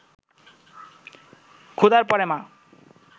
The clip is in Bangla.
খোদার পরে মা